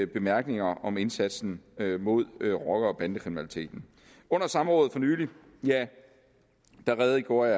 bemærkninger om indsatsen mod rocker bande kriminaliteten under samrådet for nylig redegjorde